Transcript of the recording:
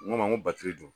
N ko ma n ko batiri